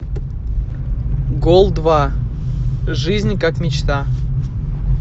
гол два жизнь как мечта